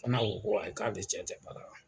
Fana ko ko ayi k'ale cɛ tɛ baara la.